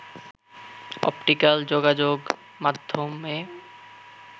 optical যোগাযোগ মাধ্যমে